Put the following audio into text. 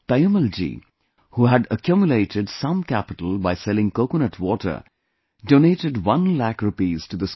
Taimmal ji, who had accumulated some capital by selling coconut water, doanted one lakh rupees to the school